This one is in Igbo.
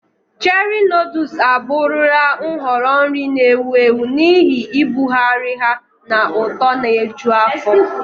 Cherie noodles abụrụla nhọrọ nri na-ewu ewu n'ihi ibugharị ha na ụtọ na-eju afọ.